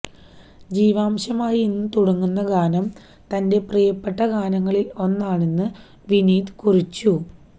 ജീവാംശമായി എന്ന് തുടങ്ങുന്ന ഗാനം തന്റെ പ്രിയപ്പെട്ട ഗാനങ്ങളിൽ ഒന്നാണെന്നും വിനീത് കുറിച്ചു